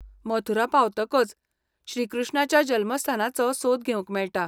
मथुरा पावतकच श्रीकृष्णाच्या जल्मस्थानाचो सोद घेवंक मेळटा.